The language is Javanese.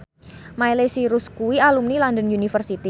Miley Cyrus kuwi alumni London University